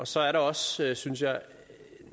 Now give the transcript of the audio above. så er der også synes jeg